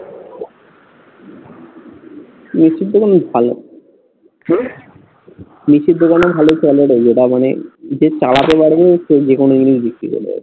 মিষ্টির দোকানও ভালো। কি? মিষ্টির দোকানেও ভালো হয় যেটা মানে যে চালাতে পারবে সে যেখানে সেখানে বিক্রি করবে